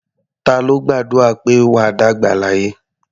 Ta ló gbàdúrà pé "wà á dàgbà láyé"?